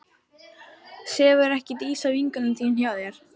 Sefur ekki Dísa, vinkona þín, hjá þér?